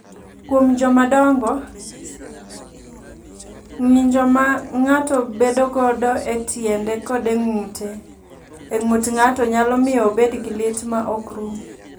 "Kuom jomadongo, ng’injo ma ng’ato bedogo e tiende kod e ng’ut ng’ato nyalo miyo obed gi lit ma ok rum."